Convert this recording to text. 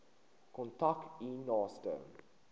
kontak u naaste